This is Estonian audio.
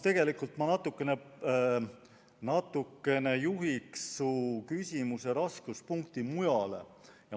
Tegelikult ma natukene juhin su küsimuse raskuspunkti mujale.